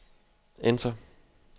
enter